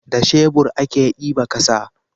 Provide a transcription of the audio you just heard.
da shebur a ke diba ƙasa